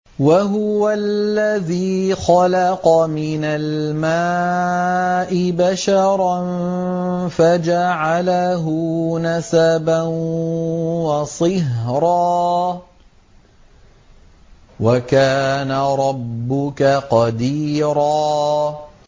وَهُوَ الَّذِي خَلَقَ مِنَ الْمَاءِ بَشَرًا فَجَعَلَهُ نَسَبًا وَصِهْرًا ۗ وَكَانَ رَبُّكَ قَدِيرًا